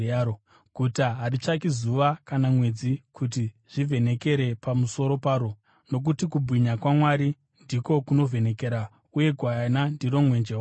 Guta haritsvaki zuva kana mwedzi kuti zvivhenekere pamusoro paro, nokuti kubwinya kwaMwari ndiko kunovhenekera, uye Gwayana ndiro mwenje waro.